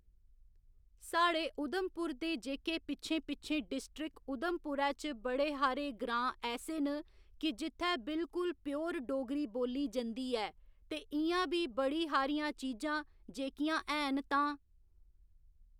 साढ़े उधमपुर दे जेह्‌के पिच्छें पिच्छें डिस्ट्रिक उधमपुरै च बड़े हारे ग्रांऽ ऐसे न कि जित्थै बिल्कुल प्योर डोगरी बोल्ली जंदी ऐ ते इ'यां बी बड़ी हारियां चीजां जेह्‌कियां हैन तां